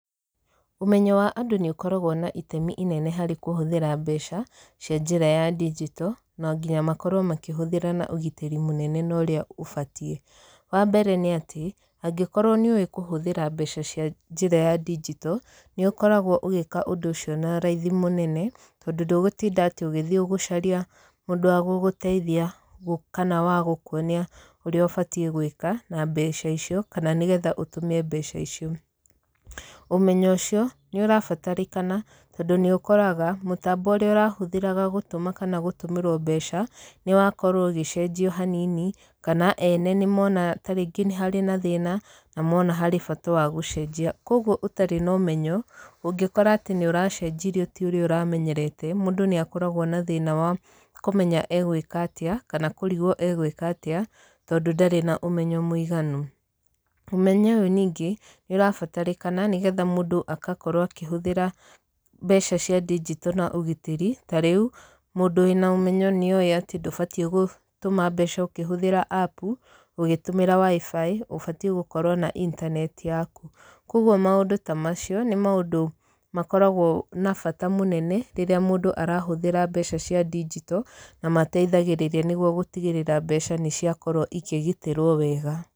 Ũmenyo wa andũ nĩ ũkoragwo na itemi inene harĩ kũhũthĩra mbeca, cia njĩra ndinjito, na nginya makorwo makĩhũthĩra na ũgitĩri mũnene na ũrĩa ũbatiĩ. Wa mbere nĩ atĩ, angĩkorwo nĩ ũĩ kũhũthĩra mbeca cia njĩra ya ndinjito, nĩ ũkoragwo ũgĩka ũndũ ũcio na raithi mũnene, tondũ ndũgũtinda atĩ ũgĩthiĩ gũcaria mũndũ wa gũgũteithia kana wa gũkuonia ũrĩa ũbatiĩ gwĩka, na mbeca icio kana nĩgetha ũtũme mbeca icio. Ũmenyo ũcio, nĩ ũrabatarĩkana tondũ nĩ ũkoraga mũtambo ũrĩa ũrahũthĩraga gũtũma kana gũtũmĩrwo mbeca, nĩ wakorwo ũgĩcenjio hanini, kana ene nĩ mona tarĩngĩ nĩ harĩ na thĩna, na mona harĩ bata wa gũcenjia. Kũguo ũtarĩ na ũmenyo, ũngĩkora atĩ nĩ ũracenjirio ti ũrĩa ũramenyerete, mũndũ nĩ akoragwo na thĩna wa kũmenya egwĩka atĩa, kana kũrigwo egwĩka atĩa, tondũ ndarĩ na ũmenyo mũiganu. Ũmenyo ũyũ ningĩ nĩ ũrabatarĩnakana, nĩgetha mũndũ akakorwo akĩhũthĩra mbeca cia ndinjito na ũgitĩri. Ta rĩu, mũndũ wĩna ũmenyo nĩ oĩ atĩ ndũbatiĩ gũtũma mbeca ũkĩhũthĩra appu, ũgĩtũmĩra WIFI , ũbatiĩ gũkorwo na intaneti yaku. Kũguo maũndũ ta macio, nĩ maũndũ makoragwo na bata mũnene, rĩrĩa mũndũ arahũthĩra mbeca cia ndinjito, na mateithagĩrĩria nĩguo gũtigĩrĩra mbeca nĩ ciakorwo ikĩgitĩrwo wega.